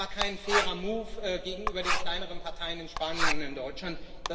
Das war kein fairer move gegenüber den kleineren Parteien in Spanien und in Deutschland.